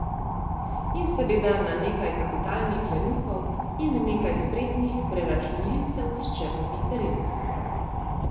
In seveda na nekaj kapitalnih lenuhov in nekaj spretnih preračunljivcev s črnimi terenci.